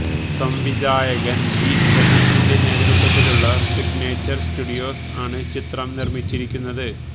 സംവിധായകൻ ജി പ്രജിത്തിന്റെ നേതൃത്വത്തിലുള്ള സിഗ്നേച്ചർ സ്റ്റുഡിയോസ് ആണ് ചിത്രം നിർമിച്ചിരിക്കുന്നത്